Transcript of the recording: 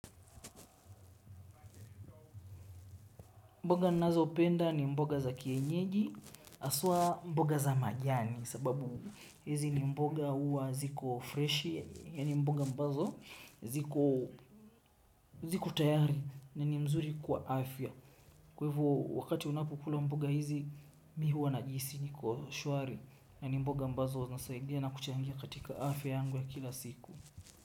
Mboga ninazopenda ni mboga za kienyeji haswa mboga za majani sababu hizi ni mboga huwa ziko fresh ya ni mboga ambazo ziko tayari na ni nzuri kwa afya. Kwa hivo wakati ninapokula mboga hizi mimi huwa najihisigi kuwa shwari yani mboga ambazo hunisaidia na kuchangia katika afya yangu ya kila siku.